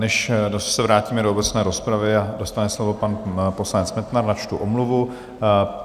Než se vrátíme do obecné rozpravy a dostane slovo pan poslanec Metnar, načtu omluvu.